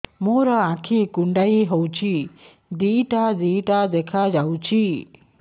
ମୋର ଆଖି କୁଣ୍ଡାଇ ହଉଛି ଦିଇଟା ଦିଇଟା ଦେଖା ଯାଉଛି